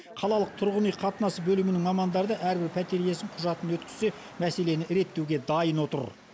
қалалық тұрғын үй қатынасы бөлімінің мамандары да әрбір пәтер иесі құжатын өткізсе мәселені реттеуге дайын отыр